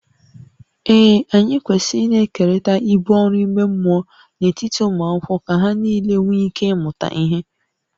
Ee, anyị kwesịrị ịna-ekerịta ibu ọrụ ime mmụọ n’etiti ụmụ akwụkwọ ka ha nile nwee ike ịmụta ihe